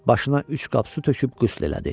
Başına üç qap su töküb qüsl elədi.